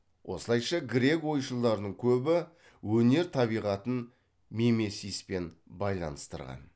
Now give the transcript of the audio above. осылайша грек ойшылдарының көбі өнер табиғатын мимесиспен байланыстырған